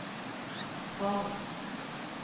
Grong